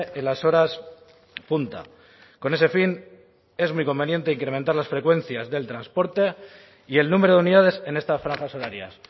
en las horas punta con ese fin es muy conveniente incrementar las frecuencias del transporte y el número de unidades en estas franjas horarias